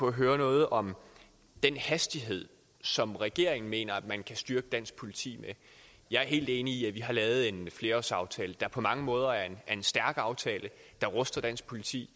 at høre noget om den hastighed som regeringen mener man kan styrke dansk politi med jeg er helt enig i at vi har lavet en flerårsaftale der på mange måder er en stærk aftale der ruster dansk politi